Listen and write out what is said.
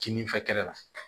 Kinin fɛ kɛlɛ la